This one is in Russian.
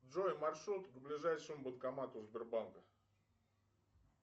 джой маршрут к ближайшему банкомату сбербанка